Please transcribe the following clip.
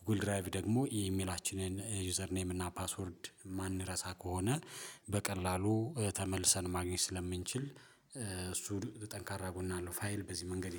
ጎጉል ድራይቭ ደግሞ የኢሜላችንን ዩዘር ኔም እና ፓስወርድ የማንረሳ ከሆነ በቀላሉ ተመልሰን ማግኘት ስለምንችል እሱ ጠንካራ ጎን አለው ፋይል በዚህ መንገድ